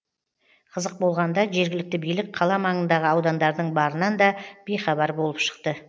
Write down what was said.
қызық болғанда жергілікті билік қала маңындағы аудандардың барынан да бейхабар болып шықты